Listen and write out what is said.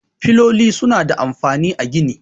Filoli suna da amfani a gini.